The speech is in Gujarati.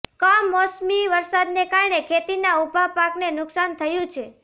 કમોસમી વરસાદને કારણે ખેતીના ઊભા પાકને નુકસાન થયું છે